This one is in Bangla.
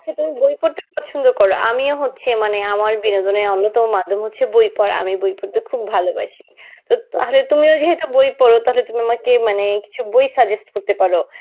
আচ্ছা তুমি বই পড়তে পছন্দ করো. আমিও হচ্ছে মানে আমার বিনোদনের অন্যতম মাধ্যম হচ্ছে বই পড়া. আমি বই পড়তে খুব ভালবাসি. তো তাহলে তুমিও যেহেতু বই পড় তাহলে আমাকে মানে কিছু বই suggest করতে পারো.